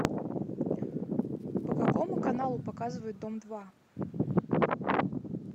по какому каналу показывают дом два